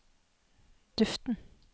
duften